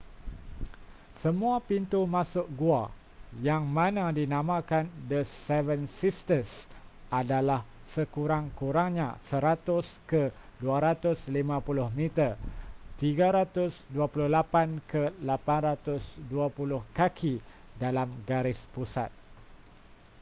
semua pintu masuk gua yang mana dinamakan the seven sisters” adalah sekurang-kurangnya 100 ke 250 meter 328 ke 820 kaki dalam garis pusat